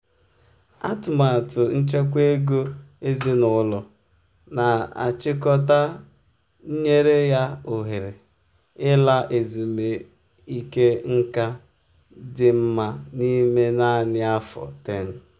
atụmatụ nchekwa ego ezinụlọ na-achịkọta nyere ya ohere um ịla ezumike nká dị mma n'ime naanị afọ 10.